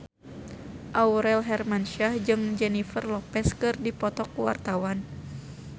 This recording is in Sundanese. Aurel Hermansyah jeung Jennifer Lopez keur dipoto ku wartawan